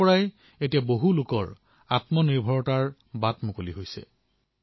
কিমান লোকৰ বাবে ইয়াৰ দ্বাৰা আত্মনিৰ্ভৰতাৰ পথ মুকলি হৈছে